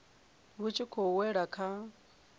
vhu tshi khou wela kha